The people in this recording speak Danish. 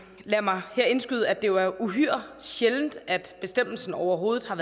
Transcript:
lad mig her indskyde at det er uhyre sjældent at bestemmelsen overhovedet er